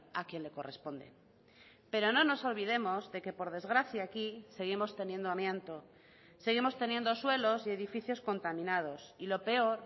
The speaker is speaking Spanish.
a quien le corresponde pero no nos olvidemos de que por desgracia aquí seguimos teniendo amianto seguimos teniendo suelos y edificios contaminados y lo peor